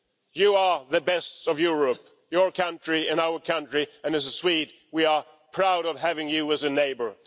You are the best of Europe your country and our country, and as a Swede, we are proud of having you as a neighbour.